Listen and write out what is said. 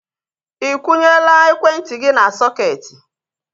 Ikwunyela ekwentị gị n'sọketi?